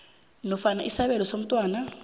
nofana isabelo somntwana